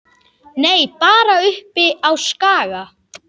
Nei, bara uppi á Skaga.